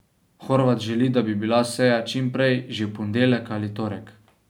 Horvat želi, da bi bila seja čim prej, že v ponedeljek ali torek.